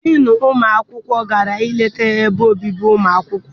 Diinu ụmụ akwụkwọ gara ileta ebe obibi ụmụ akwụkwọ.